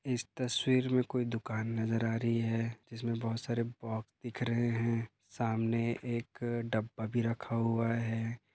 इस तस्वीर मे कोई दुकान नजर आ रही है जिसमे बहुत सारे बॉक्स दिख रहे है सामने एक डब्बा भी रखा हुआ है।